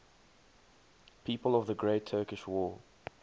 people of the great turkish war